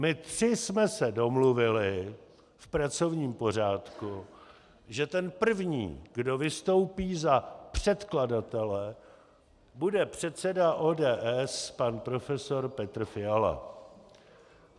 My tři jsme se domluvili v pracovním pořádku, že ten první, kdo vystoupí za předkladatele, bude předseda ODS pan profesor Petr Fiala.